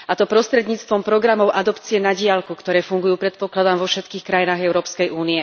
A to prostredníctvom programov adopcie na diaľku, ktoré fungujú, predpokladám, vo všetkých krajinách EÚ.